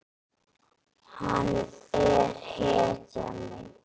Hann er hetjan mín.